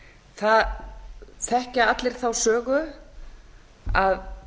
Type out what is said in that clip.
það þekkja allir þá sögu að